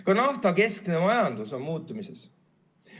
Ka naftakeskne majandus on muutumises.